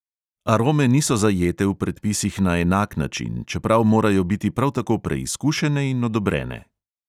Arome niso zajete v predpisih na enak način, čeprav morajo biti prav tako preizkušene in odobrene.